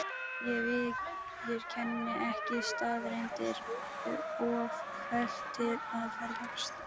Ég viðurkenni ekki staðreyndir: of hölt til að ferðast.